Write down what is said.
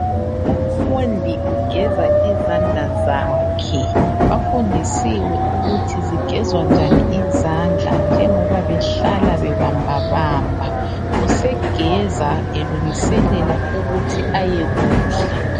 Umfundi ugeza izandla zakhe. Bafundisiwe ukuthi zigezwa njani izandla njengoba behlala bebamba bamba. Usegeza elungiselela ukuthi ayekudla.